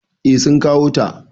Eh sun kawo ta.